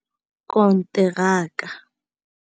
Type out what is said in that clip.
konteraka.